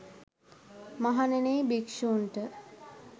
මහණෙනි යි භික්ෂූන්ට